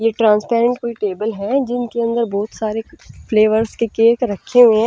ये ट्रांसपेरेंट कोई टेबल है इनके अंदर बहुत सारे फ्लेवर्स के केक रखे हुए हैं-- .